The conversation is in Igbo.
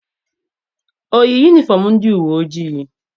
O yi yunifọm ndị uwe ojii?